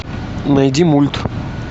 найди мульт